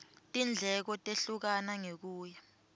tindleko tehlukana ngekuya